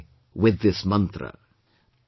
Make headway with this Mantra